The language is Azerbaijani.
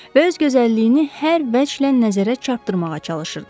Və öz gözəlliyini hər vəclə nəzərə çarpdırmağa çalışırdı.